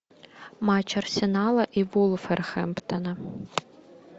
матч арсенала и вулверхэмптона